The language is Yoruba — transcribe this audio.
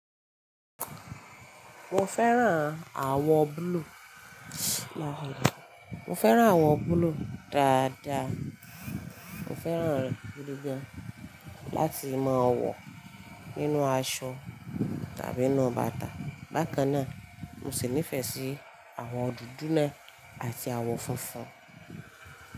Mo fẹ́ràn àwọ̀ blue. Mo fẹ́ràn àwọ̀ blue dáadáa. Mo fẹ́ràn rẹ̀ gidi gan-an láti máa wọ̀ nínú aṣọ tàbí inu bàtà. Bákan náà, mo sì nífẹ̀ẹ́ sí àwọ̀ dúdú náà àti àwọ̀ funfun.